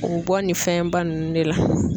U bɔ nin fɛnba nunnu de la